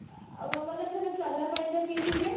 ଆଉ ଆମେ ମନେ ସବୁ ଚଲା ପାଣି ଯୋଉ ପିଇଥିଲେ